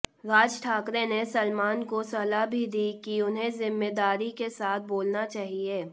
राज ठाकरे ने सलमान को सलाह भी दी कि उन्हें जिम्मेदारी के साथ बोलना चाहिए